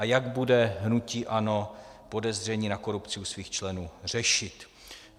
A jak bude hnutí ANO podezření na korupci u svých členů řešit?